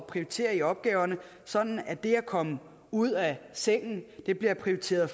prioritere i opgaverne sådan at det at komme ud af sengen bliver prioriteret